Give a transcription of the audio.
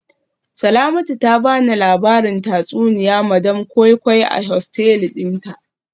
Salamatu ta bani labarin tatsuniya madam koi koi a hosteli dinta